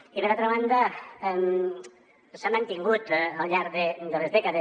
i per altra banda s’ha mantingut al llarg de les dècades